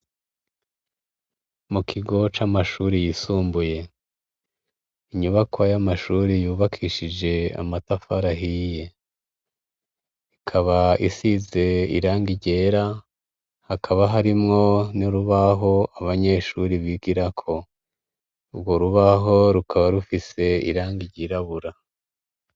Mukigo camashure yisumbuye inyubakwa yamashure yubakishijwe amatafari ahiye ikaba isize irangi ryera hakaba harimwo nurubaho abanyeshure bigirako urwo rubaho rukaba rufise irangi ryirabura